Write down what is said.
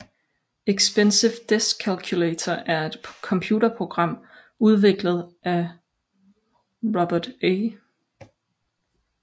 Expensive Desk Calculator er et computerprogram udviklet af Robert A